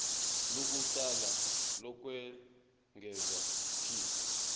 lokuqala lokwengeza p